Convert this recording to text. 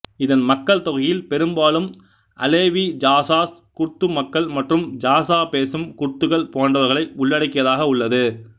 இதன் மக்கள் தொகையில் பெரும்பாலும் அலெவி ஜாசாஸ் குர்து மக்கள் மற்றும் ஜாசா பேசும் குர்துகள் போன்றவர்களை உள்ளடக்கியதாக உள்ளது